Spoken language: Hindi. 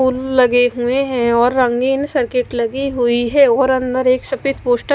पुल लगे हुए हैं और रंगीन सर्किट लगी हुई है और अंदर एक सफेद पोस्टर --